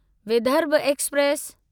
Vidarbha express